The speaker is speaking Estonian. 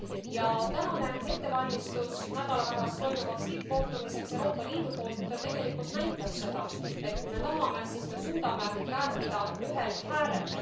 Ja tänane ettevalmistus nädala pärast toimuvaks tippkohtumiseks Euroopa Liidu poolt tegelikult näitab seda, et kui me tahame, siis me suudame rääkida ühel häälel.